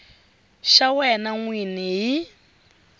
xa wena n wini hi